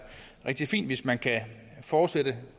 rigtig fint hvis man kan fortsætte